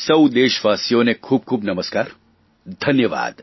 સૌ દેશવાસીઓને ખૂબ ખૂબ નમસ્કાર ધન્યવાદ